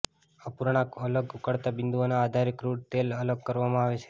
અપૂર્ણાંકમાં અલગ ઉકળતા બિંદુઓના આધારે ક્રૂડ તેલ અલગ કરવામાં આવે છે